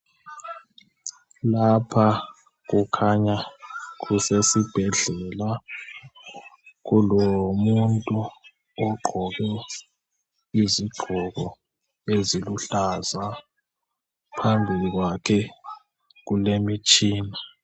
Lapha kukhanya kusesibhedlela .Kulomuntu ogqoke izigqoko eziluhlaza. Phambili kwakhe kulemitshina .